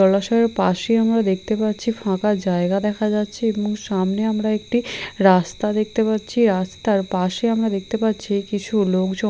জলাশয়ের পাশে আমরা দেখতে পাচ্ছি ফাঁকা জায়গা দেখা যাচ্ছে এবং সামনে আমরা একটি রাস্তা দেখতে পাচ্ছি রাস্তার পাশে আমরা দেখতে পাচ্ছি কিছু লোকজন --